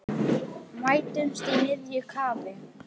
Mætumst í miðju kafi.